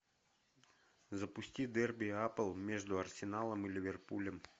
запусти дерби апл между арсеналом и ливерпулем